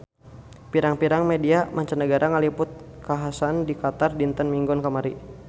Pirang-pirang media mancanagara ngaliput kakhasan di Qatar dinten Minggon kamari